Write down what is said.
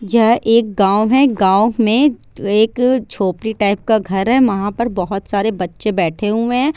यह एक गाँव है| गाँव में एक झोपड़ी टाइप का घर है। वहाँ पर बहुत सारे बच्चे बैठे हुए है।